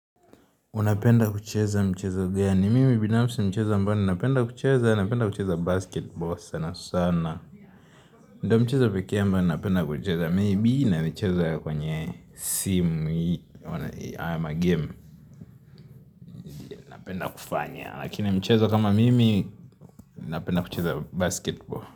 Unapenda kucheza mchezo gani? Mimi binafsi mchezo ambayo ninapenda kucheza, napenda kucheza basketball sana sana. Ndiyo mcheza pekee ambao napenda kucheza, maybe inayochezwa kwenye simu, ama game, napenda kufanya. Lakini mcheza kama mimi, napenda kucheza basketball.